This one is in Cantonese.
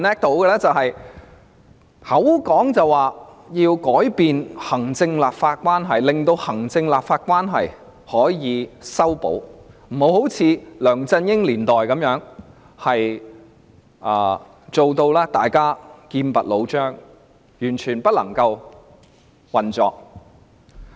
她嘴巴上說要改善行政立法關係，令行政立法關係可以修補，不要如梁振英年代般，大家劍拔弩張，以致完全不能運作。